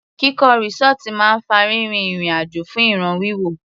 Kíkọ́ resort máa ń fa rírin ìrìn àjò fún ìràn wíwò.